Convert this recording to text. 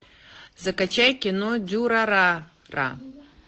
закачай кино дюрарара